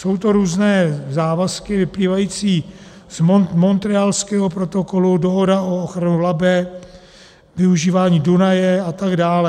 Jsou to různé závazky vyplývající z Montrealského protokolu, dohoda o ochraně Labe, využívání Dunaje a tak dále.